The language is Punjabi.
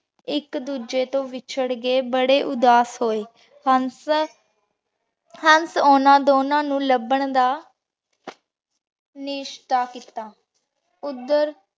ਏਇਕ ਦੋਜਯ ਤੋਂ ਵਿਚਾਰ ਕੇ ਬਾਰੇ ਉਦਾਸ ਹੋਆਯ ਹੰਸ ਹੰਸ ਇਨਾਂ ਦੋਨਾਂ ਨੂ ਲਬਾਂ ਦਾ ਨਿਸ਼੍ਤਾ ਕੀਤਾ ਉਦਰ